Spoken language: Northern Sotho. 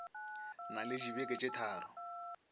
na le dibeke tše tharo